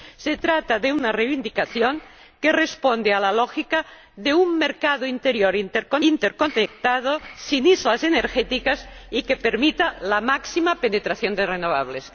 Se trata de una reivindicación que responde a la lógica de un mercado interior interconectado, sin islas energéticas, y que permita la máxima penetración de renovables.